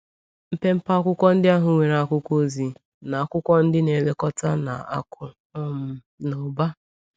Mpempe akwụkwọ ndị ahụ nwere akwụkwọ ozi na akwụkwọ ndị na-elekọta na akụ um na ụba.